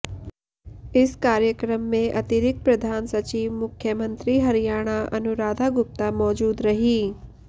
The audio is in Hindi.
इस कार्यक्रम में अतिरिक्त प्रधान सचिव मुख्यमंत्री हरियाणा अनुराधा गुप्ता मौजूद रहीं